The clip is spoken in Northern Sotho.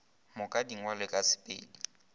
moka di ngwalwe ka sepedi